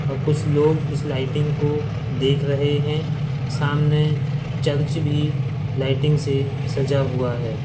अ कुछ लोग इस लाइटिंग को देख रहे हैं। सामने चर्च भी लाइटिंग से सजा हुआ है।